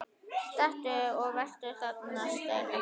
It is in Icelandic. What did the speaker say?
Stattu og vertu að steini